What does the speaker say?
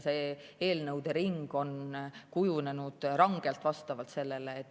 See eelnõude ring on kujunenud rangelt vastavalt sellele.